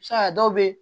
Se ka dɔw be